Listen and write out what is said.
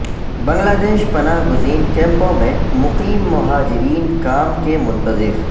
بنگلہ دیش پناہ گزیں کیمپوں میں مقیم مہاجرین کام کے منتظر